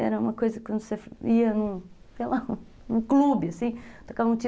Era uma coisa que quando você ia, sei lá, num clube, assim, tocava um ti